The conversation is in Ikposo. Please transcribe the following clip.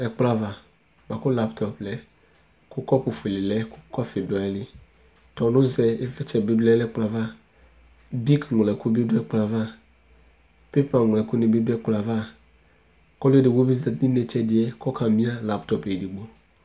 ɛkplɔ ava boa ko laptɔp lɛ lako kɔpu fuele lɛ ko kɔfi du ayi li tɔno zɛ ivlitsɛ bi lɛ no ɛkplɔ ava bik ŋlo ɛko bi do ɛkplɔɛ ava pepa ŋlo ɛko ni bi do ɛkplɔ ava ko ɔlo edigbo bi zati no inetse ɛdi ko ɔka ma ifɔ no laptɔp edigbo